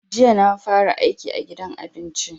Jiya na fara aiki a gidan abincin.